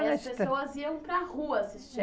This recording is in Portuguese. E as pessoas iam para rua assistir.